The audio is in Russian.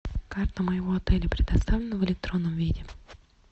карта моего отеля предоставлена в электронном виде